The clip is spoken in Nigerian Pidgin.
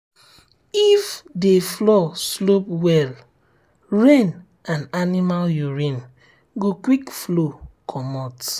if the floor slope well rain and animal urine go quick flow comot.